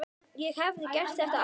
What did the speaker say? Ég hefði gert þetta aftur.